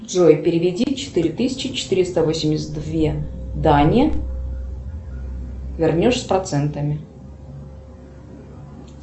джой переведи четыре тысячи четыреста восемьдесят две дане вернешь с процентами